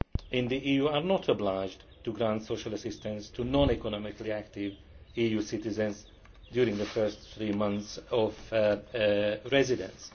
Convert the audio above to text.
in the EU are not obliged to grant social assistance to non economically active EU citizens during the first three months of residence.